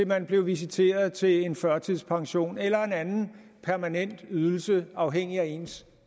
man blev visiteret til en førtidspension eller til en anden permanent ydelse afhængigt af ens